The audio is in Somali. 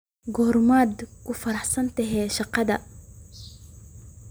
Goormaad ka fariisatay shaqada?